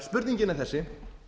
spurningin er þessi